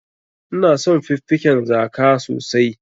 Ina son fiffiken zaka sosai.